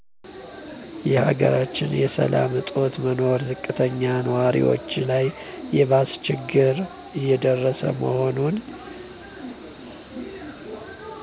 የሀገራችን የሰላም እጦት መኖር ዝቅተኛ ንዋሪዎች ላይ የባሰ ችግር እየደረሰ መሆኑ